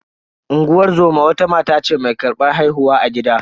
Unguwar zoma wata mata ce mai karbar haihuwa a gida.